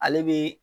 Ale be